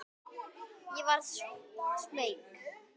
Ég verð smeyk.